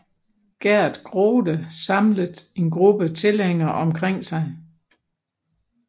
Geert Grote samlet en gruppe tilhængere omkring sig